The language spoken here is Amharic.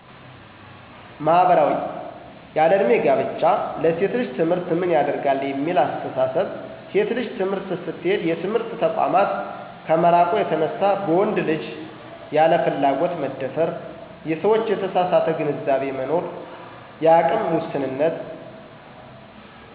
ማህበራዊ :- ያለዕድሜ ጋብቻ፣ ለሴት ልጅ ትምህርት ምን ያደርጋል የሚል አስተሳሰብ፣ ሴት ልጅ ትምህርት ስትሄድ የትምህርት ተቋማት ከመራቁ የተነሳ በወንድ ልጅ ያለ ፍላጎት መደፈር፣ የሰዎች የተሳሳተ ግንዛቤ መኖርፀ፣ የአቅም ውስንነት